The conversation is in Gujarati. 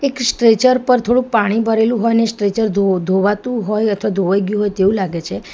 એક સ્ટ્રેચર પર થોડું પાણી ભરેલું હોય ને સ્ટ્રેચર ધો-ધોવાતું હોય અથવા ધોવઈ ગયું હોય તેવું લાગે છે.